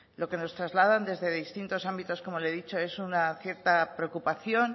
lo que nos trasladan desde distintos ámbitos como le he dicho es una cierta preocupación